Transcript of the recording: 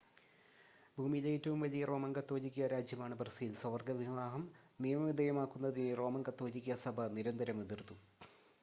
ഭൂമിയിലെ ഏറ്റവും വലിയ റോമൻ കത്തോലിക്കാ രാജ്യമാണ് ബ്രസീൽ സ്വവർഗ വിവാഹം നിയമവിധേയമാക്കുന്നതിനെ റോമൻ കത്തോലിക്കാ സഭ നിരന്തരം എതിർത്തു